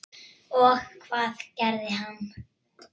Og hvað gerði hann?